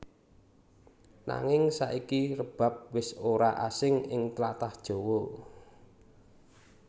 Nanging saiki rebab wis ora asing ing tlatah Jawa